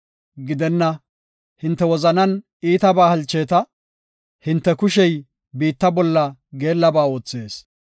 Gidenna, hinte wozanan iitabaa halcheeta; hinte kushey biitta bolla geellaba oothees.